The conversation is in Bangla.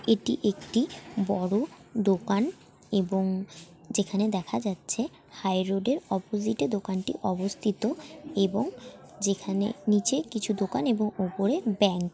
এটি একটি বড় দোকান এবং যেখানে দেখা যাচ্ছে হাই রোডের অপজিটে দোকানটি অবস্থিত এবং যেখানে নিচে কিছু দোকান এবং উপরে ব্যাংক ।